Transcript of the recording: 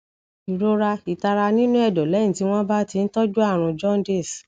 ìrora itara nínú ẹdọ lẹyìn tí wọn bá ti ń tọjú àrùn jaundice